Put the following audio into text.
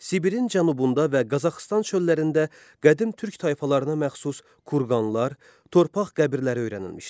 Sibirin cənubunda və Qazaxıstan çöllərində qədim türk tayfalarına məxsus kurqanlar, torpaq qəbirləri öyrənilmişdir.